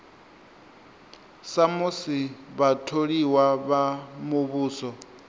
sa musi vhatholiwa vha muvhuso